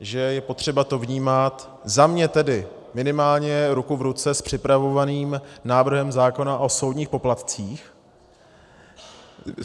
že je potřeba to vnímat, za mě tedy minimálně, ruku v ruce s připravovaným návrhem zákona o soudních poplatcích.